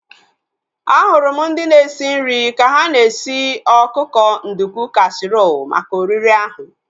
Ahụrụ m ndị na-esi nri ka ha na-esi ọkụkọ nduku kasiirọl maka oriri ahu